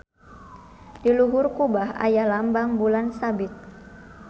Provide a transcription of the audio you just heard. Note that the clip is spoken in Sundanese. Di luhur kubah aya lambang bulan sabit.